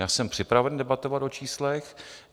Já jsem připraven debatovat o číslech.